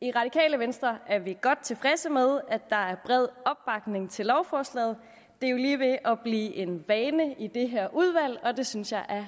i radikale venstre er vi godt tilfredse med at der er bred opbakning til lovforslaget det er jo lige ved at blive en vane i det her udvalg og det synes jeg er